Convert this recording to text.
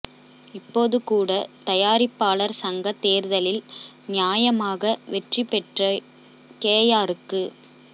இப்போது கூட தயாரிப்பாளர் சங்க தேர்தலில் நியாயமாக வெற்றி பெற்ற கேயாருக்கு